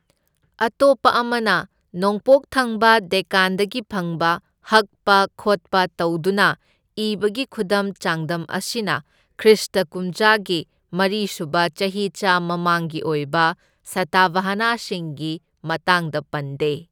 ꯑꯇꯣꯞꯄ ꯑꯃꯅ, ꯅꯣꯡꯄꯣꯛ ꯊꯪꯕ ꯗꯦꯛꯀꯥꯟꯗꯒꯤ ꯐꯪꯕ ꯍꯛꯄ ꯈꯣꯠꯄ ꯇꯧꯗꯨꯅ ꯏꯕꯒꯤ ꯈꯨꯗꯝ ꯆꯥꯡꯗꯝ ꯑꯁꯤꯅ ꯈ꯭ꯔꯤꯁꯇ ꯀꯨꯝꯖꯥꯒꯤ ꯃꯔꯤ ꯁꯨꯕ ꯆꯍꯤꯆꯥ ꯃꯃꯥꯡꯒꯤ ꯑꯣꯏꯕ ꯁꯇꯚꯥꯍꯅꯥꯁꯤꯡꯒꯤ ꯃꯇꯥꯡꯗ ꯄꯟꯗꯦ꯫